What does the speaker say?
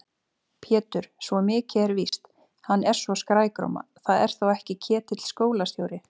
Pétur, svo mikið er víst, hann er svo skrækróma. það er þó ekki Ketill skólastjóri?